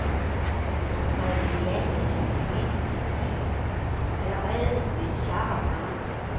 Hun var idealet af en kvinde med stil, allerede mens jeg var barn.